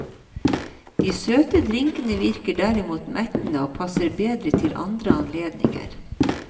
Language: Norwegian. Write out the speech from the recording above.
De søte drinkene virker derimot mettende, og passer bedre til andre anledninger.